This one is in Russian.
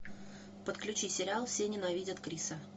подключи сериал все ненавидят криса